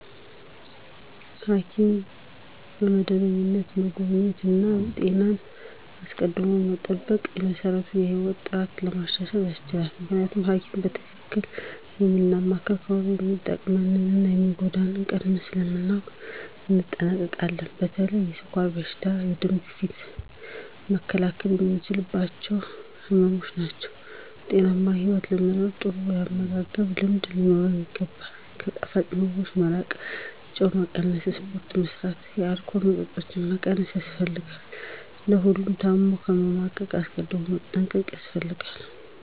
ሐኪምን በመደበኛነት መጎብኘት እና ጤናን አስቀድሞ መጠበቅ በመሰረቱ የህይወት ጥራትን ለማሻሻል ያስችላል። ምክንያቱም ሀኪም በትክክል የምናማክር ከሆነ የሚጠቅመንን እና የሚጎዳንን ቀድመን ስለምናውቅ እንጠነቀቃለን። በተለይ የስኳር በሽታ፣ ደም ግፊት መከላከል የምንችላቸው ህመምች ናቸው። ጤናማ ህይወት ለመኖር ጥሩ ያመጋገብ ልምድ ሊኖረን ይገባል፣ ከጣፋጭ ምግቦች መራቅ፣ ጨው መቀነስ፣ ስፖርት መስራት፣ የአልኮል መጠጦችን መቀነስ ያስፈልጋል። ለሁሉም ታም ከመማቀቅ አስቀድም መጠንቀቅ ያስፈልጋል።